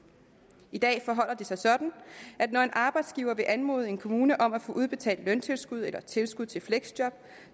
i dag forholder det sig sådan at når en arbejdsgiver vil anmode en kommune om at få udbetalt løntilskud eller tilskud til fleksjob